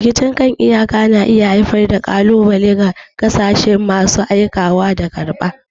Rikicin kan iyaka na iya haifar da ƙalubale ga ƙasashen masu aikawa da karɓa.